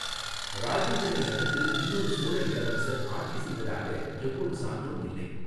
ராஜேந்திரனை அடுத்து இன்னொரு சோழ இளவரசர் ஆட்சி செய்ததாக எவ்வொரு சான்றும் இல்லை.